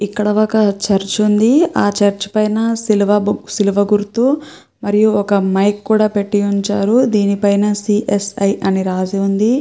ఇక్కడ ఒక చర్చి ఉంది. అ చర్చి పైన శిలువ బు గుర్తు మరియు ఒక మైక్ కూడా పెట్టి ఉంచారు దీని పైన సీస్ఐ అని రాసి ఉంది.